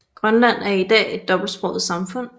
Grønland er i dag et dobbeltsproget samfund